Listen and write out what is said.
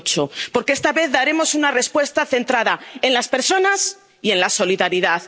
2008. Porque esta vez daremos una respuesta centrada en las personas y en la solidaridad.